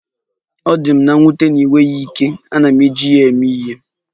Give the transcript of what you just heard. Ọ dị m nwute na ịnweghị ike, ana m eji ya eme ihe.